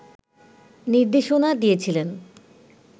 নির্দেশনা দিয়েছিলেন